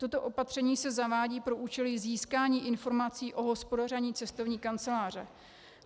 Toto opatření se zavádí pro účely získání informací o hospodaření cestovní kanceláře.